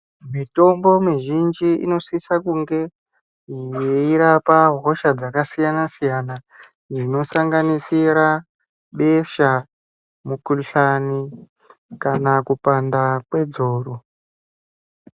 Mitombo mizhinji inosisa kunge yeirapa hosha dzakasiyana siyana ,inosanganisira besha, mikuhlani kana kupanda kwedzoro.